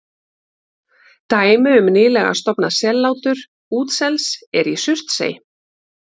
Dæmi um nýlega stofnað sellátur útsels er í Surtsey.